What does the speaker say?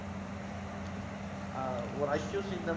ஒரு accused